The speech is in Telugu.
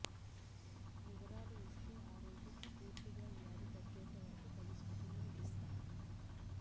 వివరాలు ఇస్తే ఆ రోగికి పూర్తిగా వ్యాధి తగ్గేంత వరకు తగు సూచనలు ఇస్తాం